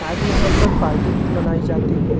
सायद यहा पर पार्टी भी मनाई जाती है।